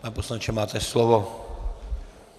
Pane poslanče, máte slovo.